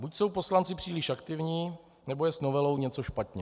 Buď jsou poslanci příliš aktivní, nebo je s novelou něco špatně.